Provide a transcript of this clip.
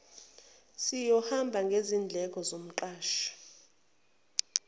siyohamba ngezindleko zomqashi